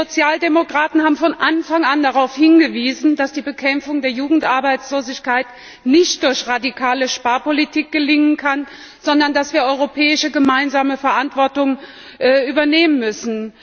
Wir Sozialdemokraten haben von Anfang an darauf hingewiesen, dass die Bekämpfung der Jugendarbeitslosigkeit nicht durch radikale Sparpolitik gelingen kann, sondern dass wir europäische gemeinsame Verantwortung übernehmen müssen.